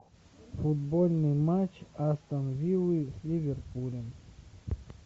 футбольный матч астон виллы с ливерпулем